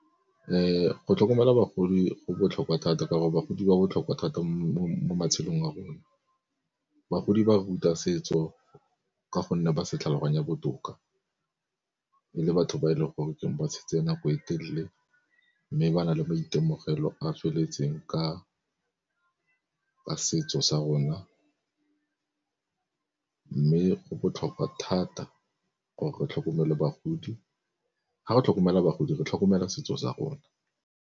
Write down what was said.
Go tlhokomela bagodi go botlhokwa thata ka gore bagodi ba botlhokwa thata mo matshelong a rona. Bagodi ba ruta setso ka gonne ba se tlhaloganya botoka, e le batho ba e le goreng ba tshetse nako e telele mme ba nale maitemogelo a feletseng ka setso sa rona. Mme go botlhokwa thata gore re tlhokomele bagodi, fa re tlhokomela bagodi re tlhokomela setso sa rona.